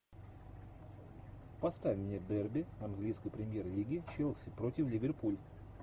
поставь мне дерби английской премьер лиги челси против ливерпуль